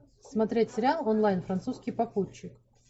смотреть сериал онлайн французский попутчик